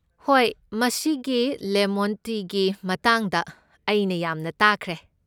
ꯍꯣꯏ, ꯃꯁꯤꯒꯤ ꯂꯦꯃꯣꯟ ꯇꯤꯒꯤ ꯃꯇꯥꯡꯗ ꯑꯩꯅ ꯌꯥꯝꯅ ꯇꯥꯈ꯭ꯔꯦ꯫